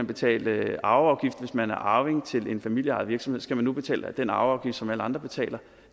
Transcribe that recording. betale arveafgift hvis man er arving til en familieejet virksomhed skal man nu betale den arveafgift som alle andre betaler